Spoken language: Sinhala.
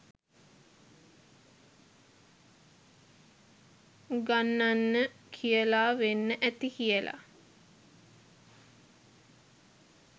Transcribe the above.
උගන්නන්න කියලා වෙන්න ඇති කියලා.